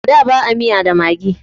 A da ba a miya da maggi